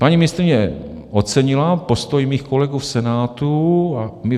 Paní ministryně ocenila postoj mých kolegů v Senátu.